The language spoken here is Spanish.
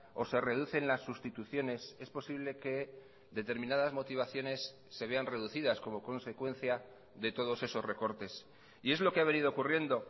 o se reducen las sustituciones es posible que determinadas motivaciones se vean reducidas como consecuencia de todos esos recortes y es lo que ha venido ocurriendo